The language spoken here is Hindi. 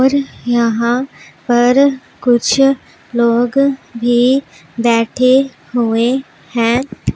और यहां पर कुछ लोग भी बैठे हुए हैं।